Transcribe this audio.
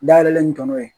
Dayɛlɛn n tɔnɔ ye